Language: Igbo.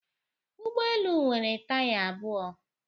Ụgbọ elu nwere taya abụọ.